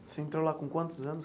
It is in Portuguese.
Você entrou lá com quantos anos?